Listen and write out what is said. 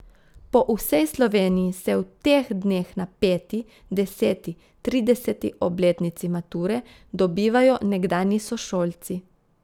Po vsej Sloveniji se v teh dneh na peti, deseti, trideseti obletnici mature dobivajo nekdanji sošolci.